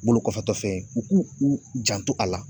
Bolokɔfɛtɔ fɛn ye, u k'u u janto a la.